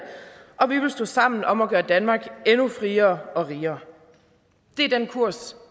og vi vil stå sammen om at gøre danmark endnu friere og rigere det er den kurs